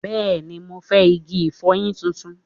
Bẹ́ẹ̀ni, mo fẹ́ igi ìfọyín tuntun